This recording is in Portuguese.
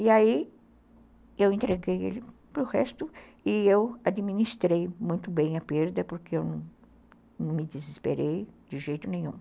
E aí eu entreguei ele para o resto e eu administrei muito bem a perda, porque eu não me desesperei de jeito nenhum.